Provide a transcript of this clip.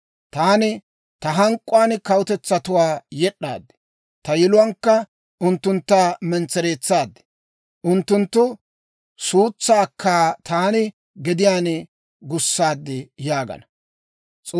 Taani ta hank'k'uwaan kawutetsatuwaa yed'd'aad; ta yiluwaankka unttuntta mentsereetsaad; unttunttu suutsaakka taani gadiyaan gussaad» yaagana.